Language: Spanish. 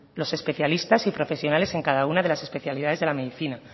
los especialistas y profesionales en cada una de las especialidades de la medicina